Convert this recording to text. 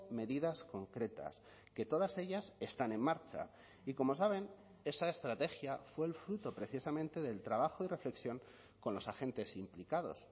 medidas concretas que todas ellas están en marcha y como saben esa estrategia fue el fruto precisamente del trabajo y reflexión con los agentes implicados